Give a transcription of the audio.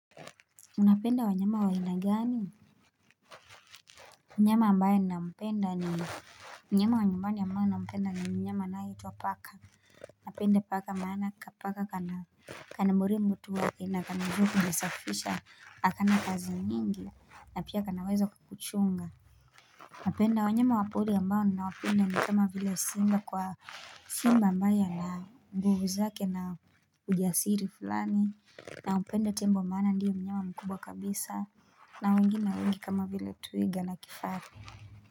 Unapenda wanyama wa aina gani mnyama ambaye nampenda ni mnyama wa nyumbani ambayo nampenda ni mnyama nayo tu huwa paka Unapenda paka maana kapaka kana Kanamburi mbutu wake na kanajubu njasa fisha akana kazi nyingi na pia kanawezo kuchunga Unapenda wanyama wapori ambayo na wapenda ni kama vile simba kwa simba ambayo na nguvu zake na ujasiri fulani na hupenda tembo maana ndiyo mnyama mkubwa kabisa na wengi na wengi kama vila twiga na kifaru.